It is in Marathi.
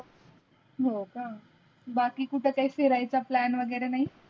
हो का बाकी कुटे काही फिराय़चा plan वागेरे नाही?